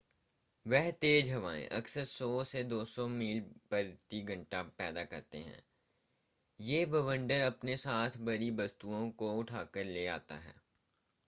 वे तेज हवायें अक्सर 100-200 मील / घंटा पैदा करते ह. यह बवंडर अपने साथ भारी वस्तुओं को उठाकर ले जाता हैं।